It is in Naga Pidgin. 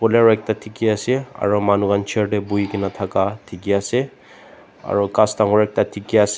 blur ekta dekhi ase aru manu khan chair te bohe kina thaka dekhi ase aru gass dagur ekta dekhi ase.